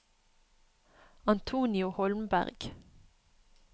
Antonio Holmberg